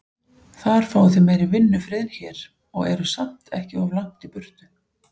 Þar fáið þið meiri vinnufrið en hér, og eruð samt ekki of langt í burtu.